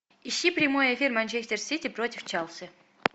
ищи прямой эфир манчестер сити против челси